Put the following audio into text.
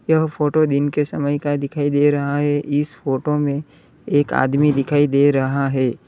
यह फोटो दिन के समय का दिखाई दे रहा है इस फोटो में एक आदमी दिखाई दे रहा है।